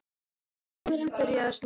Það var áður en byrjaði að snjóa.